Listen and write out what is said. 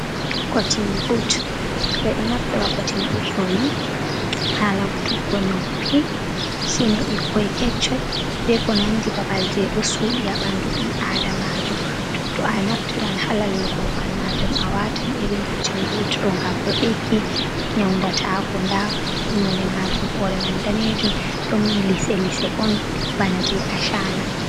Kotin ɓot ɓe ɗo naftira kotin ɓot ɗo ni ha laggu tuggo nuppi kene ɓikkon kesson be ko nandi babal je ɗo suɗi ha ɓandu ɓi adamajo to a naftiran ha lallugo ha babal majum a watan irin kotin ɓot ɗo ngam ɗo ɗiggina yauɗata ko ɗa nonɗe majum hore mai ɗanejum ɗon lese lese on bana je asana.